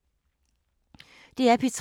DR P3